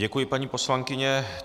Děkuji, paní poslankyně.